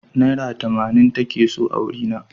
Naira tamanin take so a wurina.